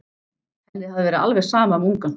Henni hafði verið alveg sama um ungann.